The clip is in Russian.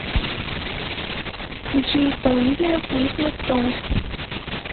включи исполнителя крисмас сонгс